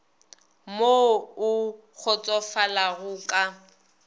mo o kgotsofalago o ka